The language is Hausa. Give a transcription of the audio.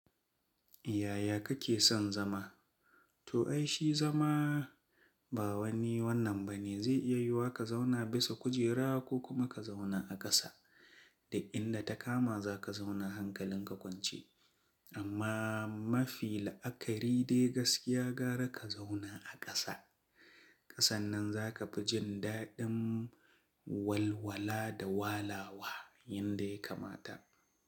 Yaya kake son zama? To ai shi zama ba wani wannan bane zai iya yiwa ka zauna bisa kujera ko kuma ka zauna a ƙasa. Da inda ta kama za ka zauna hankalin ka kwance. Amma mafi la'akari dai gaskiya gara ka zauna a ƙasa. Ƙasan nan za ka fi jin daɗin walwala da walawa yanda ya kamata.